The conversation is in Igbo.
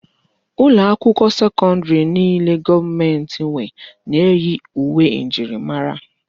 Ụlọ akwụkwọ sekọndrì niile gọọmenti nwe na-eyi uwe njirimara.